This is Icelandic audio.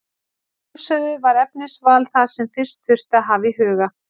Að sjálfsögðu var efnisval það sem fyrst þurfti að hafa í huga.